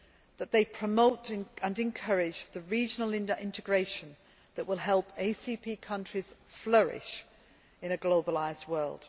that promote and encourage the regional integration that will help ACP countries flourish in a globalised world